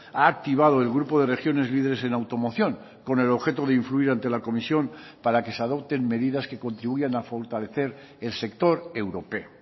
ha activado el grupo de regiones líderes en automoción con el objeto de influir ante la comisión para que se adopten medidas que contribuyan a fortalecer el sector europeo